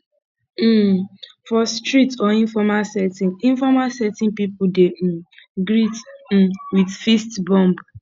um for street or informal setting informal setting pipo dey um greet um with fist bump